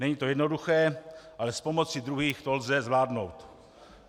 Není to jednoduché, ale s pomocí druhých to lze zvládnout.